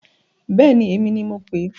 Bẹ́èni, èmi ni mo pèé.